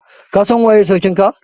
Ka San waye sarkin ka?